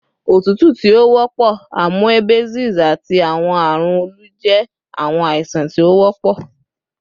otutu ti o wọpọ, amoebiasis, ati awọn arun olu jẹ awọn aisan ti o wọpọ